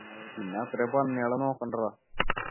പിന്നെ അത്രേം പന്നികളെ നോക്കണ്ടേ ഡാ